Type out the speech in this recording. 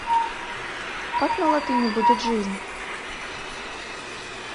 как на латыни будет жизнь